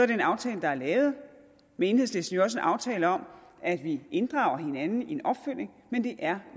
den aftale der er lavet med enhedslisten jo også en aftale om at vi inddrager hinanden i en opfølgning men det er